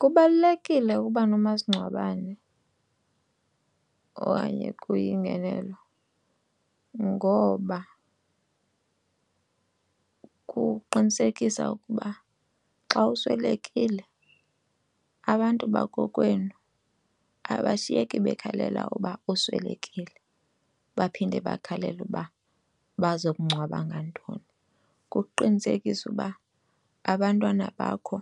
Kubalulekile ukuba nomasingcwabane okanye kuyingenelo ngoba kuqinisekisa ukuba xa uswelekile abantu bakokwenu abashiyeki bekhalela uba uswelekile baphinde bakhalele uba baza kungcwaba ngantoni. Kuqinisekisa uba abantwana bakho